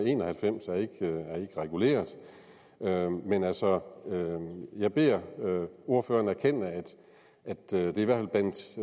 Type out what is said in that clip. en og halvfems er ikke reguleret men altså jeg beder ordføreren erkende at